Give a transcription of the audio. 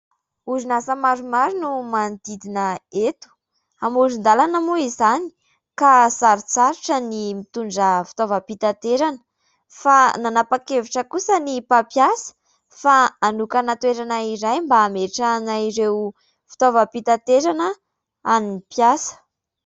Orinasa maromaro no manodidina eto, amoron-dalana moa izany ka sarotsarotra ny mitondra fitaovam-pitaterana fa nanapa-kevitra kosa ny mpampiasa fa hanokana toerana iray mba hametrahana ireo fitaovam-pitaterana an'ny mpiasa.